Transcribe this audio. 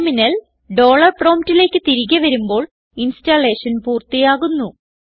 terminal dollar promptലേക്ക് തിരികെ വരുമ്പോൾ ഇൻസ്റ്റലേഷൻ പൂർത്തിയാകുന്നു